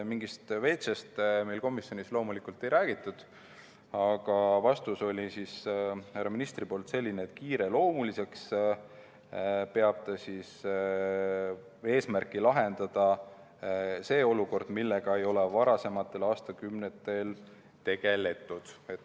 Mingist veetšest meil komisjonis loomulikult ei räägitud, aga härra ministri vastus oli, et kiireloomuliseks peab ta eesmärki lahendada see olukord, millega ei ole varasematel aastakümnetel tegeletud.